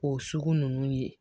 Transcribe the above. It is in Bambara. O sugu ninnu ye